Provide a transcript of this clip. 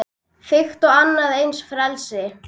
Þvílíkt og annað eins frelsi!